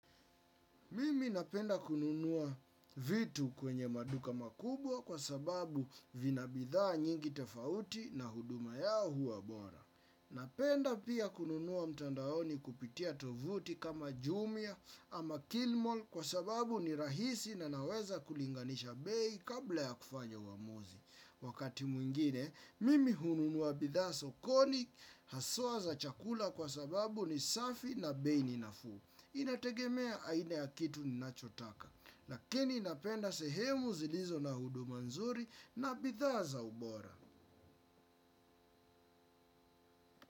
Mimi napenda kununua vitu kwenye maduka makubwa kwa sababu vina bidhaa nyingi tofauti na huduma yao huwa bora. Napenda pia kununua mtandaoni kupitia tovuti kama Jumia ama Kilimall kwa sababu ni rahisi na naweza kulinganisha bei kabla ya kufanya uamuzi. Wakati mwingine, mimi hununua bidhaa sokoni haswa za chakula kwa sababu ni safi na bei ni nafuu. Inategemea aina ya kitu ninachotaka. Lakini napenda sehemu zilizo na huduma nzuri na bidhaa za ubora.